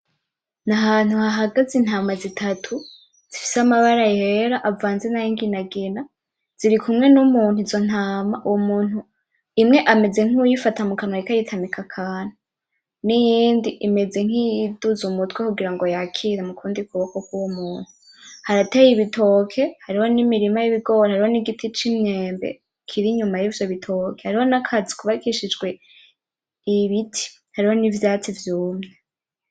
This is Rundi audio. N'ahantu hahagaze intama zitatu ,zifise amabara yera avanze na y'inginangina zirikumwe n'umuntu ,uwo muntu imwe ameze nkuwuyifata ,ariko ayitamika akantu n'iyindi imeze nkiyiduza umutwe kugira ngo yakire mukundi kuboko kw'uwo muntu ,harateye ibitoke, hariho n'imirima yibigori, hariho n'igiti c'imyembe kirinyuma y'ivyo bitoke hariho n'akazu kubakushijwe Ibiti hariho n'ivyatsi vyumye.